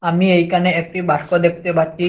আমি এইকানে একটি বাক্স দেখতে পাচ্ছি।